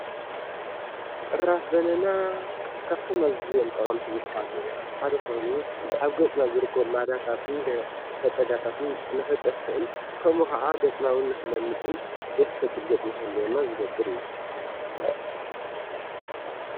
ቅራፍ ባናና ካብቶም ኣዝዮም ጠቀምቲ ዝብሃሉ ነገራት ሓደ ኮይኑ ኣብ ገጽና ዝርከቡ ማዳታትን ፈፀጋታትን ንክጠፍእን ከምኡ ከዓ ገጽና ዉን ንክለምጽን ደስ ዘብል ገጽ ንክህልወና ዝገብር እዩ።